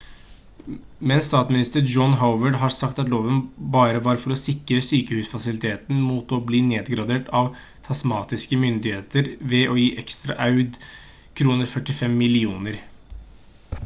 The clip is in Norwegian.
men statsminister john howard har sagt at loven bare var for å sikre sykehusfasilitene mot å bli nedgradert av tasmanske myndigheter ved å gi ekstra audkr 45 millioner